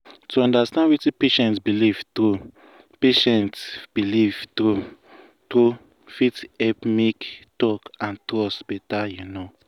to understand wetin patient believe true patient believe true true fit help make talk and trust better you know.